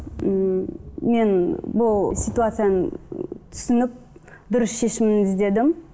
ммм мен бұл ситуацияны түсініп дұрыс шешімді іздедім